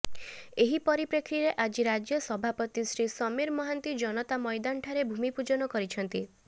ଏହି ପରିପ୍ରେକ୍ଷୀରେ ଆଜି ରାଜ୍ୟ ସଭାପତି ଶ୍ରୀ ସମୀର ମହାନ୍ତି ଜନତା ମଇଦାନ ଠାରେ ଭୂମି ପୂଜନ କରିଛନ୍ତି